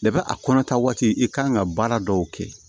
a kɔnɔtaa waati i kan ka baara dɔw kɛ